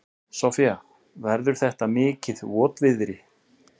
Soffía, verður þetta mikið votviðri?